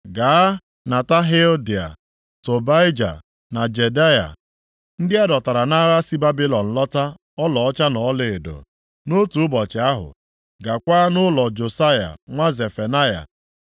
“Gaa nata Heldai, Tobaija na Jedaya, ndị a dọtara nʼagha si Babilọn lọta ọlaọcha na ọlaedo. Nʼotu ụbọchị ahụ, gakwaa nʼụlọ Josaya nwa Zefanaya.